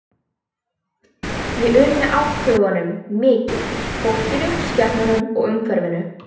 Ég unni átthögunum mikið, fólkinu, skepnunum og umhverfinu.